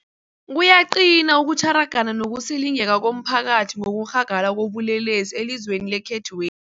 Kuyaqina ukutjhara, gana nokusilingeka komphakathi ngokurhagala kobulelesi elizweni lekhethwe